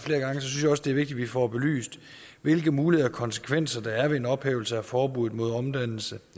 også det er vigtigt at vi får belyst hvilke muligheder og konsekvenser der er ved en ophævelse af forbuddet mod omdannelse